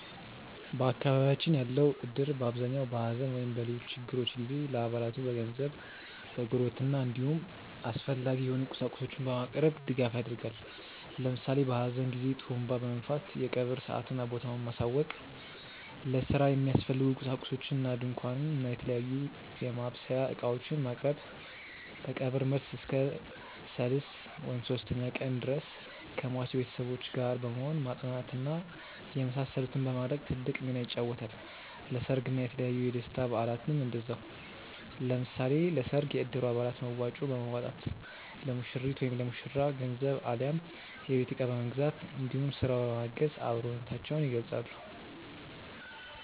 በአካባቢያችን ያለው እድር በአብዛኛው በሐዘን ወይም በሌሎች ችግሮች ጊዜ ለአባላቱ በገንዘብ፣ በጉርብትና እንዲሁም አስፈላጊ የሆኑ ቁሳቁሶችን በማቅረብ ድጋፍ ያደርጋል። ለምሳሌ በሀዘን ጊዜ ጡሩንባ በመንፋት የቀብር ሰአትና ቦታውን ማሳወቅ፣ ለስራ የሚያስፈልጉ ቁሳቁሶችን እንደ ድንኳን እና የተለያዩ የማብሰያ እቃዎችን ማቅረብ፣ ከቀብር መልስ እስከ ሰልስት (ሶስተኛ ቀን) ድረስ ከሟች ቤተሰቦች ጋር በመሆን ማፅናናት እና የመሳሰሉትን በማድረግ ትልቅ ሚናን ይጫወታል። ለሰርግ እና የተለያዩ የደስታ በአላትም እንደዛው። ለምሳሌ ለሰርግ የእድሩ አባላት መዋጮ በማዋጣት ለሙሽሪት/ ለሙሽራው ገንዘብ አሊያም የቤት እቃ በመግዛት እንዲሁም ስራ በማገዝ አብሮነታቸውን ይገልፃሉ።